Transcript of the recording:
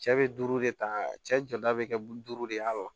Cɛ bɛ duuru de ta cɛ jɔda bɛ kɛ duuru de ye a